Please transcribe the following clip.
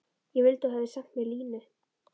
Ég vildi að þú hefðir sent mér línu.